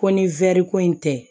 Ko ni wɛri ko in tɛ